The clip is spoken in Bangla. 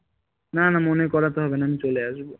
না না মনে করতে হবে না আমি চলে আসবো